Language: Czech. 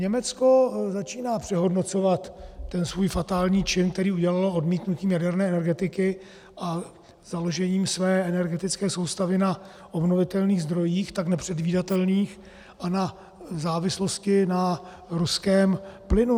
Německo začíná přehodnocovat ten svůj fatální čin, který udělalo odmítnutím jaderné energetiky a založením své energetické soustavy na obnovitelných zdrojích, tak nepředvídatelných, a na závislosti na ruském plynu.